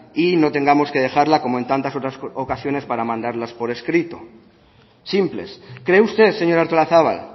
y no tengamos que dejarla como en tantas otras ocasiones para mandarlas por escrito simples cree usted señora artolazabal